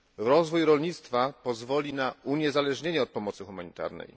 Rozwój rolnictwa pozwoli na uniezależnienie od pomocy humanitarnej.